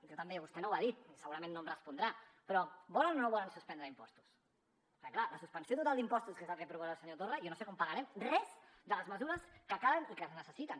jo també vostè no ho ha dit i segurament no em respondrà però volen o no volen suspendre impostos perquè clar la suspensió total d’impostos que és el que proposa el senyor torra jo no sé com pagarem cap de les mesures que calen i que es necessiten